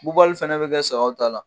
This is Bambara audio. fana ne bɛ kɛ sagaw ta la